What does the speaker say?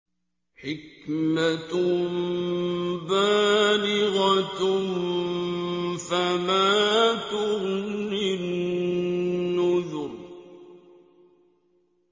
حِكْمَةٌ بَالِغَةٌ ۖ فَمَا تُغْنِ النُّذُرُ